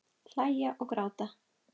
Hlæja og gráta.